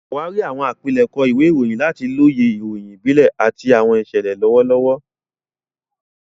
Ṣàwárí àwọn àpilẹ̀kọ ìwé ìròyìn láti lóye ìròyìn ìbílẹ̀ àti àwọn ìṣẹ̀lẹ̀ lọ́wọ́lọ́wọ́.